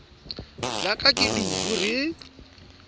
la ka ke dudu re